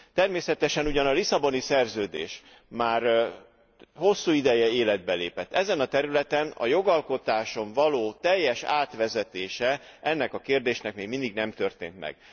Természetesen ugyan a Lisszaboni Szerződés már hosszú ideje életbe lépett, ezen a területen a jogalkotáson való teljes átvezetése ennek kérdésnek még mindig nem történt meg.